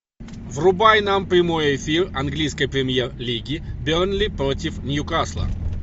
врубай нам прямой эфир английской премьер лиги бернли против ньюкасла